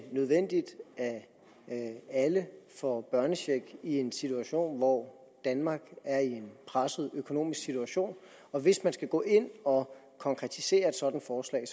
nødvendigt at alle får børnecheck i en situation hvor danmark er i en presset økonomisk situation og hvis man skal gå ind og konkretisere et sådant forslag